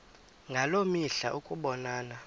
ngaloo mihla ukubonana